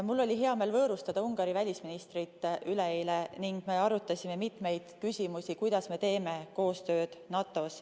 Mul oli hea meel võõrustada üleeile Ungari välisministrit ning me arutasime mitmeid küsimusi, kuidas me teeme NATO-s koostööd.